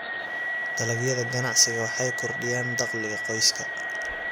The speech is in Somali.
Dalagyada ganacsigu waxay kordhiyaan dakhliga qoyska.